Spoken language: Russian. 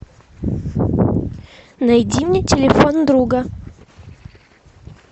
найди мне телефон друга